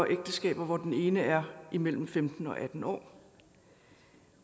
ægteskaber hvor den ene er imellem femten og atten år